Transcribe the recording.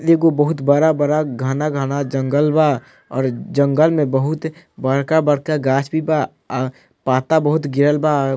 एगो बहुत बड़ा-बड़ा घना-घना जंगल बा और जंगल में बहुत बड़का-बड़का गाछ भी बा और पत्ता बहुत गिरल बा।